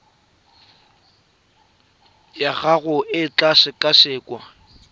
ya gago e tla sekasekwa